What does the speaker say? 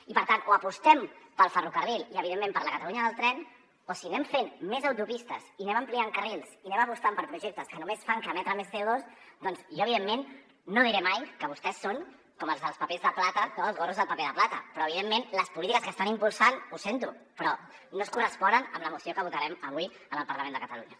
i per tant o apostem pel ferrocarril i evidentment per la catalunya del tren o si anem fent més autopistes i anem ampliant carrils i anem apostant per projectes que només fan que emetre més cono diré mai que vostès són com els dels papers de plata dels gorros de paper de plata però evidentment les polítiques que estan impulsant ho sento però no es corresponen amb la moció que votarem avui en el parlament de catalunya